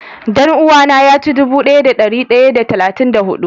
Dan-uwa na ya ci dubu daya da dari daya da talatin da hudu.